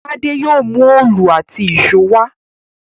Tádé mú òòlù àti ìṣó wá